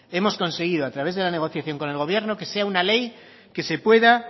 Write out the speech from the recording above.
hemos conseguido a través de la negociación con el gobierno que sea una ley que se pueda